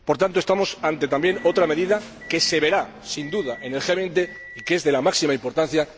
Por tanto, estamos ante otra medida que se verá, sin duda, en el G 20, y que es de la máxima importancia